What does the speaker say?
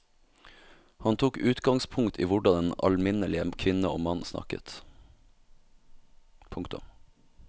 Han tok utgangspunkt i hvordan den alminnelige kvinne og mann snakket. punktum